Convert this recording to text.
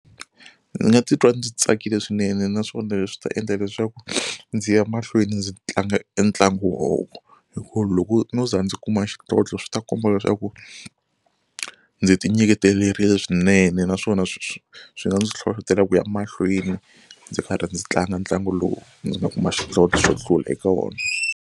Ndzi nga titwa ndzi tsakile swinene naswona leswi ta endla leswaku ndzi ya mahlweni ndzi tlanga e ntlangu wo hi ku loko no za ndzi kuma xidlodlo swi ta komba leswaku ndzi ti nyiketerile swinene naswona swi swi swi nga ndzi nhlohloteleka ku ya mahlweni ndzi karhi ndzi tlanga ntlangu lowu ndzi nga kuma xidlodlo xo hlula eka wona.